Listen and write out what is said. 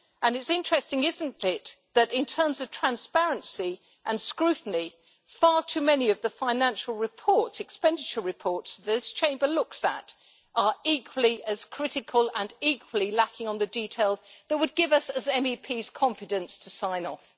It is interesting, isn't it, that in terms of transparency and scrutiny far too many of the financial expenditure reports this Chamber looks at are equally as critical and equally lacking on the detail that would give us as MEPs confidence to sign off.